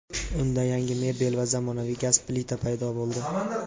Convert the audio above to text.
Unda yangi mebel va zamonaviy gaz plita paydo bo‘ldi.